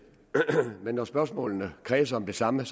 men når spørgsmålene kredser om det samme er